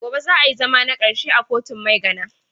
Gobe za a yi zama takarshe a kotun Maigana.